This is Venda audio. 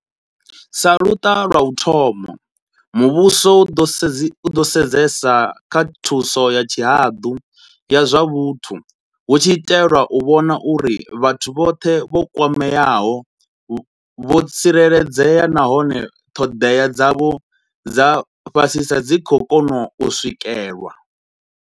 Sa luṱa lwa u thoma, muvhuso u ḓo sedzesa kha thuso ya tshihaḓu ya zwa vhuthu, hu tshi itelwa u vhona uri vhathu vhoṱhe vho kwameaho vho tsireledzea nahone ṱhoḓea dzavho dza fhasisa dzi khou kona u swikelwa.